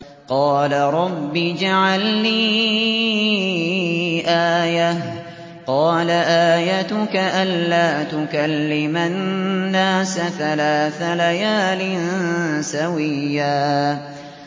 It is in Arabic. قَالَ رَبِّ اجْعَل لِّي آيَةً ۚ قَالَ آيَتُكَ أَلَّا تُكَلِّمَ النَّاسَ ثَلَاثَ لَيَالٍ سَوِيًّا